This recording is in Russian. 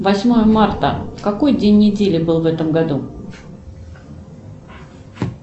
восьмое марта какой день недели был в этом году